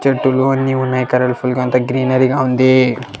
చెట్టులు అన్ని ఉన్నాయి కలర్ ఫుల్ గా ఉంది గ్రీనరీగా ఉంది.